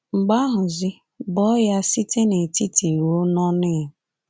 Mgbe ahụzi, bọọ ya site n’etiti ruo n’ọnụ ya.